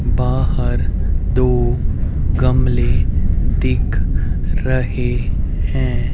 बाहर दो गमले दिख रहे है।